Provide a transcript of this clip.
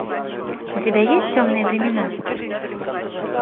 у тебя есть темные времена